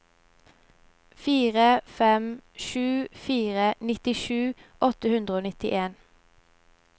fire fem sju fire nittisju åtte hundre og nittien